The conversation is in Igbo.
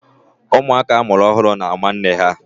Ụmụaka a mụrụ ọhụrụ na-ámá nne ha.